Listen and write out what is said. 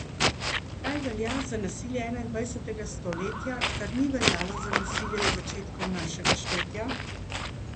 Kaj velja za nasilje enaindvajsetega stoletja, kar ni veljalo za nasilje iz začetkov našega štetja?